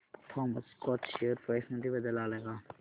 Thomas Scott share price मध्ये बदल आलाय का